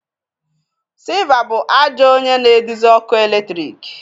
Silver bụ ajọ onye na-eduzi ọkụ eletrik